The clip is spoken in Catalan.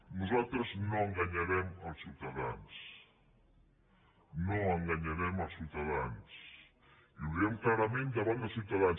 nosaltres no enganyarem els ciutadans no enganyarem els ciutadans i ho diem clarament davant dels ciutadans